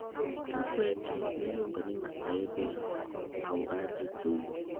tug tuk weche miluongo ni masaibu ya muuaji sugu